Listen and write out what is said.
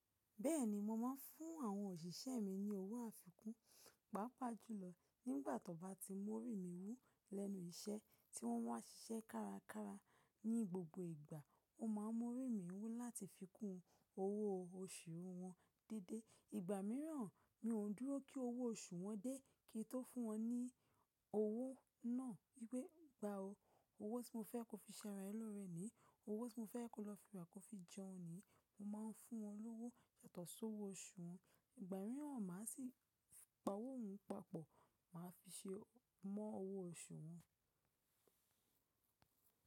Bẹ́ẹ̀ni, mo máa ń fún àwọn òṣìṣẹ́ mi ní owó àfikún, pàápàá jùlọ nígbà tí wọ́n bá ti mórìn mí wú lẹ́nu iṣẹ́ tí wọ́n wá ṣiṣẹ́ kárakára. Ní gbogbo ìgbà, o máa mórìn mí wú láti fi kún owó oṣù wọn déédé. Ìgbà míràn mi o dúró kí owó oṣù wọn dé kí n tó fún wọn ní owó náà. Gbé gba ọ́, owó tí mo fẹ́ kí o fi ṣe ara ẹ lórẹ́ ni, owó tí mo fẹ́ kí o lọ rà kí o fi jẹun ni. Mo máa ń fún wọn lówó yàtọ̀ sí owó oṣù wọn. Ìgbà míràn máa sì pa owó hun papọ̀ máa fi ṣe mọ́ owó oṣù wọn.